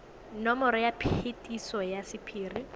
nomoro ya phetiso ya sephiri